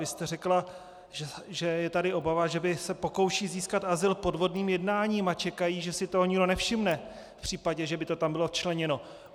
Vy jste řekla, že je tady obava, že by se pokoušeli získat azyl podvodným jednáním a čekají, že si toho nikdo nevšimne, v případě, že by to tam bylo včleněno.